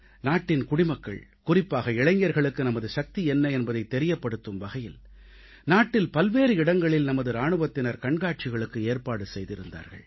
நாட்டின் குடிமக்கள் குறிப்பாக இளைஞர்களுக்கு நமது சக்தி என்ன என்பதைத் தெரியப்படுத்தும் வகையில் நாட்டில் பல்வேறு இடங்களில் நமது இராணுவத்தினர் கண்காட்சிகளுக்கு ஏற்பாடு செய்திருந்தார்கள்